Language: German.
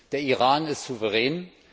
Der Iran ist souverän.